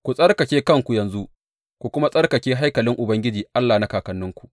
Ku tsarkake kanku yanzu, ku kuma tsarkake haikalin Ubangiji Allah na kakanninku.